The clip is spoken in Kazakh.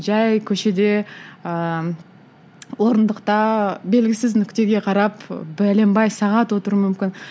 жай көшеде ыыы орындықта белгісіз нүктеге қарап бәленбай сағат отыруым мүмкін